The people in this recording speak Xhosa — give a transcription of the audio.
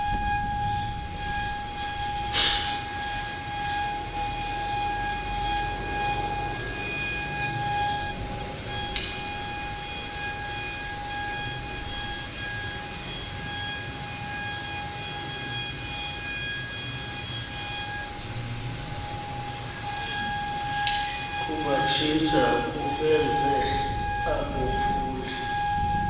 kubatshintsha kubenze abophuli